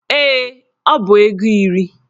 Ee, ọ bụ ego iri